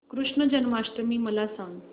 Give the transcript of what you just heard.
कृष्ण जन्माष्टमी मला सांग